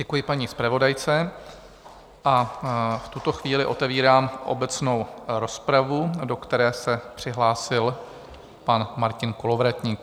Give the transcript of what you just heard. Děkuji paní zpravodajce a v tuto chvíli otevírám obecnou rozpravu, do které se přihlásil pan Martin Kolovratník.